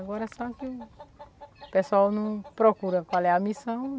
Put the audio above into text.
Agora só que o pessoal não procura qual é a missão.